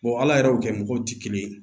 ala yɛrɛ y'o kɛ mɔgɔw ti kelen ye